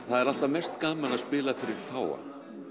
það er alltaf mest gaman að spila fyrir fáa